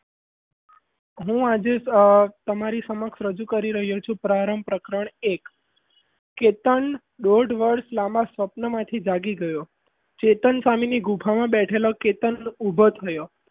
હું આજે તમારી સમક્ષ રજૂ કરી રહ્યો છું પ્રારંભ પ્રકરણ એક કેતન આજે દોઢ વર્ષ લાંબા સપનામાંથી જાગી ગયો ધન સામેની ગુફામાં બેઠેલો કેતન ઉભો થયો.